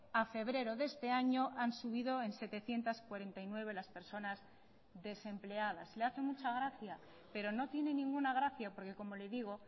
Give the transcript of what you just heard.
a febrero de este año han subido en setecientos cuarenta y nueve las personas desempleadas le hace mucha gracia pero no tiene ninguna gracia porque como le digo